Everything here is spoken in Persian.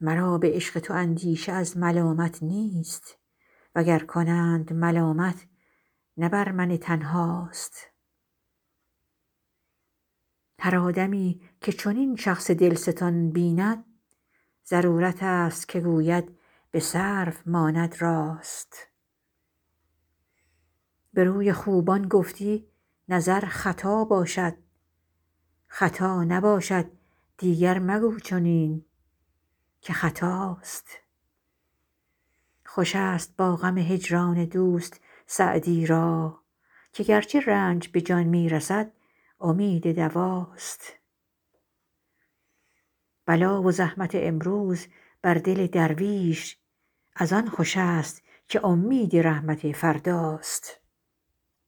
مرا به عشق تو اندیشه از ملامت نیست و گر کنند ملامت نه بر من تنها ست هر آدمی که چنین شخص دل ستان بیند ضرورت است که گوید به سرو ماند راست به روی خوبان گفتی نظر خطا باشد خطا نباشد دیگر مگو چنین که خطاست خوش است با غم هجران دوست سعدی را که گرچه رنج به جان می رسد امید دوا ست بلا و زحمت امروز بر دل درویش از آن خوش است که امید رحمت فردا ست